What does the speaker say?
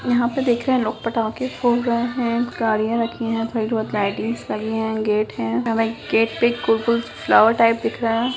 यहाँ पर देख रहें हैं लोग पटाखे फोड़ रहें हैं गाड़ियाँ रखी हैं थोड़े बहुत लाइटिंग्स लगी है गेट हैं गेट पर गोल-गोल फ्लॉवर टाइप दिख रहें हैं।